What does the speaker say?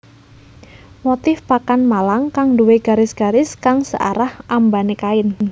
Motif pakan malang kang duwé garis garis kang searah ambané kain